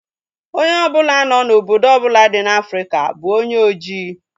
Onye ọbụla no na obodo ọbụla dị n'Afrika bụ onye ojii